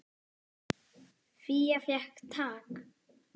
Fía fékk tak.